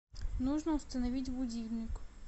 нужно установить будильник